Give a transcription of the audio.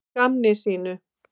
Að gamni sínu?